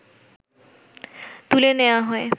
তুলে নেয়া হয়